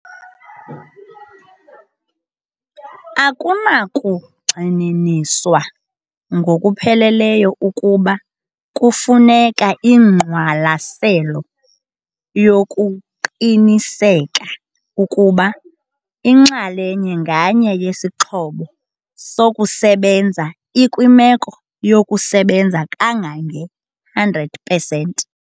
Akunakugxininiswa ngokupheleleyo ukuba kufuneka ingqwalaselo yokuqinisekisa ukuba inxalenye nganye yesixhobo sokusebenza ikwimeko yokusebenza kangange-100 pesenti.